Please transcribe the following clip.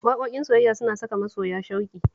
Waƙoƙin soyayya suna saka masoya shauƙi